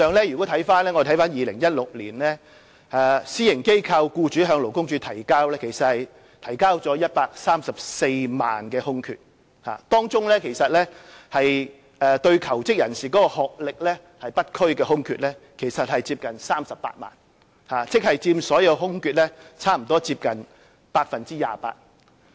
如果我們翻看2016年的資料，私營機構僱主向勞工處提交了134萬個職位空缺，當中對求職人士的學歷不拘的空缺接近38萬個，即佔所有空缺約 28%。